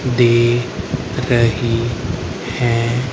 देख रही है।